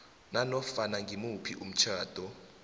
nanofana ngimuphi umtjhado